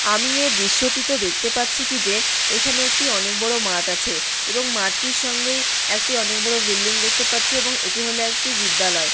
আমি এ দৃশ্যটিতে দেখতে পাচ্ছি কি যে এখানে একটি অনেক বড় মাঠ আছে এবং মাঠটির সঙ্গে একটি অনেক বড় বিল্ডিং দেখতে পাচ্ছে এবং এটি হলো একটি বিদ্যালয়।